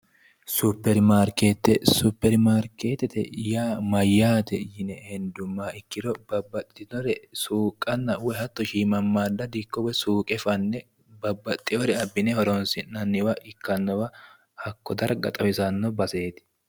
supiri maarikeetete mirte yaa mayaate yinne hendummoha ikkiro babaxino suuqanna woyi babaxinnore abine horoonsi'nanniwa ikannowa hako dariga xawisannoreetti